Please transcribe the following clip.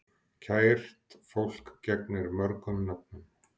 Kært fólk gegnir mörgum nöfnum.